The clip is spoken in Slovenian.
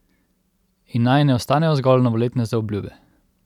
In naj ne ostanejo zgolj novoletne zaobljube.